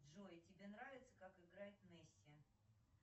джой тебе нравится как играет месси